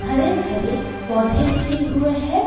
हरे भरे पौधे लगे हुए है।